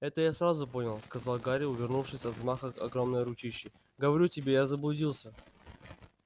это я сразу понял сказал гарри увернувшись от взмаха огромной ручищи говорю тебе я заблудился